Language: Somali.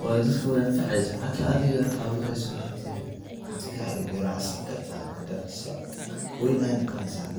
uu leeyahay, wuxuu ku fiican yahay qofka caafimaadkiisa, maadaama uu ka kooban yahay fiitamiinno iyo fiberka, kaas oo gacan ka geystaya habka nafaqada, wuxuuna yaraadayaa khatarta qaarka wadnaha, kor u qaadista difaaca jidhka, iyo xoojinta xididdada, bisbaasku wuxuu leeyahay midho madhan oo dhexdiisa ah oo aan la cuni karin, laakiin qaarkii ayaa loo isticmaalaa dabiicooyin ama daawooyin, geedka bisbaaska wuxuu